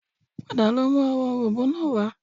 Padà lọ mú àwọn òrom̀bó náà wá